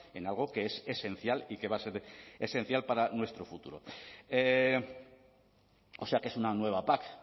en algo que es esencial y que va a ser esencial para nuestro futuro o sea que es una nueva pac